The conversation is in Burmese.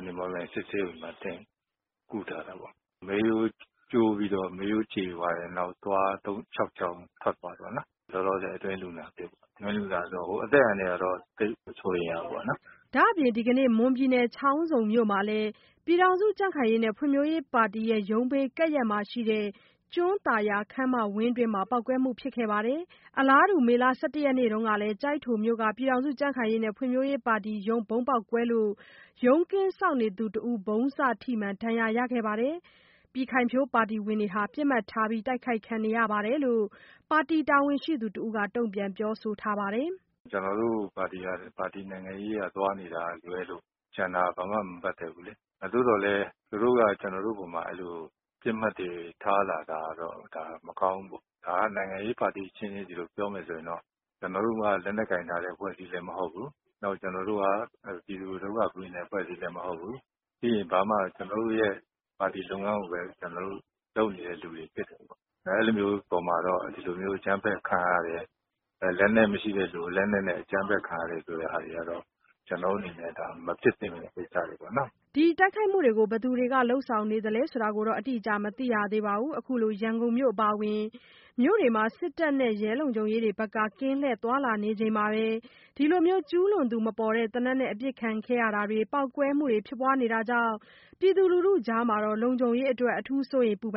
၀ မော်လမြိုင်စစ်ဆေးရုံမှာ ကုထားတာပေါ့။ မေးရိုးကျိုးပြီးတော့ မေးရိုးကြေသွားတယ်။ နောက် သွား ခြောက်ချောင်း ထွက်သွားတယ်ပေါ့နော်။ လောလောဆယ်အတွင်းလူနာအဖြစ် အတွင်းလူနာဆိုတာ အသက်အန္တရာယ်ကတော့ သိပ်မစိုးရိမ်ရဘူးပေါ့နော်။” ဒါ့အပြင် ဒီကနေ့ ချောင်းဆုံမြို့နယ်မှာလည်း ပြည်ခိုင်ဖြိုးပါတီရုံးဘေးကပ်လျက်မှာရှိတဲ့ ကျွန်းသာယာခန်းမဝင်းအတွင်း ပေါက်ကွဲမှု ဖြစ်ပွားခဲ့ပါတယ်။ အလားတူ မေလ ၁၁ ရက်နေ့တုန်းက ကျိုက်ထိုမြို့၊ ပြည်ခိုင်ဖြိုးပါတီရုံး ဗုံးပေါက်ကွဲမှုကြောင့် ရုံးကင်းစောင့်တဦး ဗုံးစထိမှန် ဒဏ်ရာရရှိခဲ့ပြီး ပြည်ခိုင်ဖြိုးပါတီဝင်တွေ ပစ်မှတ်ထား တိုက်ခိုက်ခံနေရတယ်လို့ ပါတီတာဝန်ရှိသူတဦးက တုန့်ပြန်ပြောဆိုထားပါတယ်။ “ကျနော်တို့ပါတီက ပါတီနိုင်ငံရေး သွားနေတာကလွဲ ကျန်တာဘာမှ မပတ်သက်ဘူးလေ။ သို့သော်လည်း သူတို့က ကျနော်တို့အပေါ်မှာ အဲလိုပစ်မှတ်တွေထားလာတာတော့ ဒါမကောင်းဘူးပေါ့။၊ ဒါနိုင်ငံရေးပါတီအချင်းချင်း ဒီလိုပြောမယ်ဆိုရင်တော့ ကျနော်တို့မှာ လက်နက်ကိုင်ထားတဲ့ အဖွဲ့အစည်းလည်း မဟုတ်ဘူး။ နောက်ကျနော်တို့က ပြည်သူကိုဒုက္ခပေးနေတဲ့ အဖွဲ့အစည်းလည်းမဟုတ်ဘူး။ ပြီးရင် ဘာမှ ကျနော်တို့ရဲ့ ပါတီလုပ်ငန်းကိုပဲ ကျနော်တို့လုပ်နေတဲ့ လူတွေဖြစ်တယ်ပေါ့။ အဲလိုမျိုးအပေါ်မှာတော့ ဒီလိုမျိုးအကြမ်းဖက်ခံရတယ်၊ လက်နက်မရှိတဲ့လူကို လက်နက်နဲ့ အကြမ်းဖက်ခံရတယ်ဆိုတဲ့ဟာတွေကတော့ ကျနော်တို့အနေနဲ့ ဒါမဖြစ်သင့်တဲ့ကိစ္စတွေပေါ့နော်။” ဘယ်သူတွေက ခုလို တိုက်ခိုက်နေသလဲဆိုတာတော့ အတိအကျမသိရသေးပါဘူး။ ခုလို ရန်ကုန်မြို့အပါအဝင် မြို့တွေမှာ စစ်တပ်နဲ့ ရဲတွေ ကင်းလှည့်သွားလာနေချိန် ဒီလို ကျူးလွန်သူမပေါ်တဲ့ သေနတ်နဲ့အပစ်ခံရတာတွေ၊ ပေါက်ကွဲမှုတွေဖြစ်နေတာကြောင့် ပြည်သူလူထုကြား လုံခြုံရေးအတွက် စိုးရိမ်ပူပန်